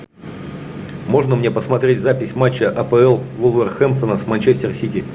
можно мне посмотреть запись матча апл вулверхэмптона с манчестер сити